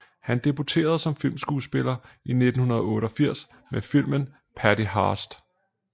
Han debuterede som filmskuespiller i 1988 med filmen Patty Hearst